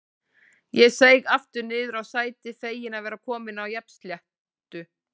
Ég seig aftur niður á sætið, feginn að vera kominn á jafnsléttu.